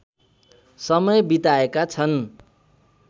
समय बिताएका छन्